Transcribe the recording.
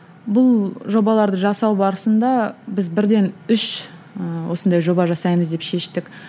бұл жобаларды жасау барысында біз бірден үш ііі осындай жоба жасаймыз деп шештік